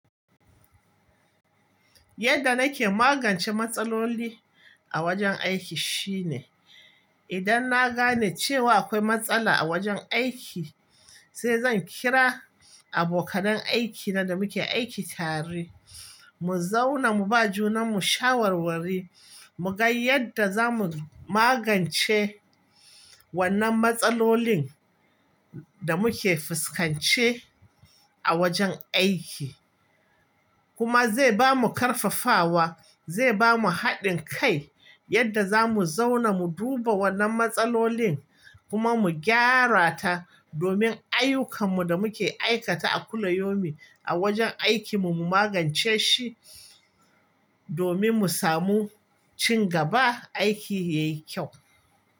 Yadda nake magance matsaloli a wajen aiki shine, idan na gane cewa akwai matsala a wajen aiki sai zan kira abokanan aikina da muke aiki tare, mu zauna mu ba juna mu shawarwari mu ga yadda zamu magance wannan matsalolin da muke fuskance a wajen aiki. Kuma zai bamu karfafawa, zai bamu haɗin kai yadda zamu zauna mu duba wannan matsalolin kuma mu gyara ta domin ayyukanmu da muke aikata a kullayomi a wajen aikinmu mu magance shi domin mu samu ci gaba, aiki yayi kyau.